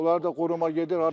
Onlar da qoruma gedir.